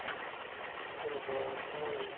ம்ஹும் உம்